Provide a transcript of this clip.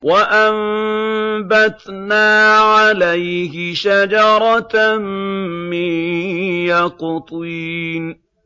وَأَنبَتْنَا عَلَيْهِ شَجَرَةً مِّن يَقْطِينٍ